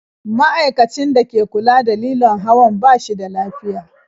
Ma'aikacin da ke kula da lilon hawan ba shi da lafiya.